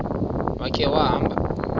ya khe wahamba